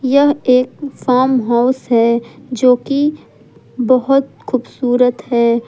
यह एक farm house है जो की बहुत खूबसूरत है।